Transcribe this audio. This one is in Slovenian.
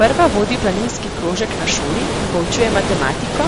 Prva vodi planinski krožek na šoli in poučuje matematiko,